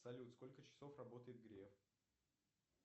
салют сколько часов работает греф